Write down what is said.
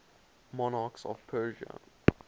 monarchs of persia